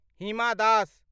हिमा दस